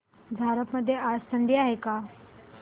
झारप मध्ये आज थंडी आहे का